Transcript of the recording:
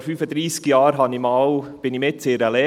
Vor 35 Jahren war ich mitten in der Lehre.